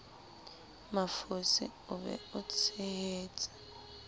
mafosi o be o tshehetse